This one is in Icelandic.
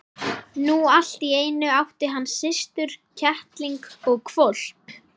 Nú allt í einu átti hann systur, kettling og hvolp.